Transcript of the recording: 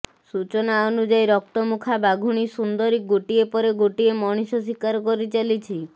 ସୂଚନା ଅନୁଯାୟୀ ରକ୍ତମୁଖା ବାଘୁଣୀ ସୁନ୍ଦରୀ ଗୋଟିଏ ପରେ ଗୋଟେ ମଣିଷ ଶୀକାର କରିଚାଲିଛି